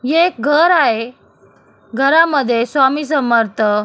हे एक घर आहे घरामध्ये स्वामी समर्थ--